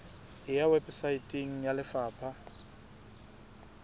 e ya weposaeteng ya lefapha